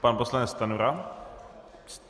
Pan poslanec Stanjura.